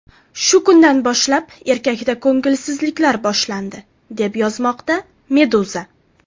Shu kundan boshlab erkakda ko‘ngilsizliklar boshlandi, deb yozmoqda Meduza.